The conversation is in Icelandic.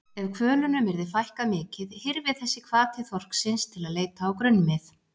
Ef hvölunum yrði fækkað mikið hyrfi þessi hvati þorsksins til að leita á grunnmið.